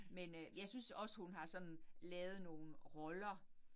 Men øh jeg synes også hun har sådan lavet nogle roller